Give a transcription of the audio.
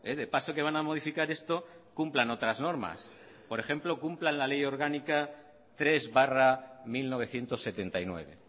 de paso que van a modificar esto cumplan otras normas por ejemplo cumplan la ley orgánica tres barra mil novecientos setenta y nueve